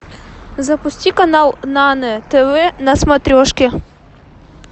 запусти канал нано тв на смотрешке